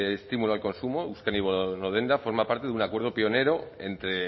estímulo al consumo euskadi bono denda forma parte de un acuerdo pionero entre